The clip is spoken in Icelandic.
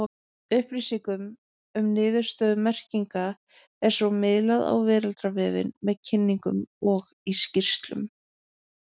Upplýsingum um niðurstöður merkinga er svo miðlað á veraldarvefinn, með kynningum og í skýrslum.